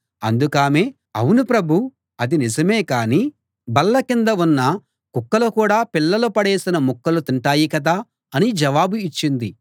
అందుకామె ఔను ప్రభూ అది నిజమే గాని బల్లకింద ఉన్న కుక్కలు కూడా పిల్లలు పడేసిన ముక్కలు తింటాయి కదా అని జవాబు ఇచ్చింది